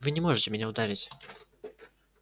вы не можете меня ударить